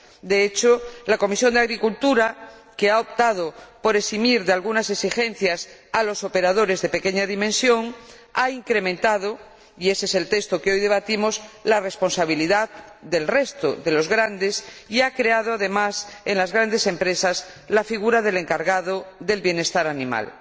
De hecho, la Comisión de Agricultura y Desarrollo, que ha optado por eximir de algunas exigencias a los operadores de pequeña dimensión, ha incrementado —y ése es el texto que hoy debatimos— la responsabilidad del resto de los grandes y, además, ha creado en las grandes empresas la figura del encargado del bienestar animal.